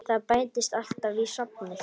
Það bætist alltaf í safnið.